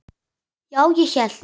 Já, ég hélt.